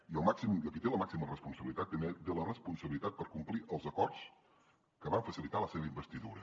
i qui té la màxima responsabilitat té la responsabilitat per complir els acords que van facilitar la seva investidura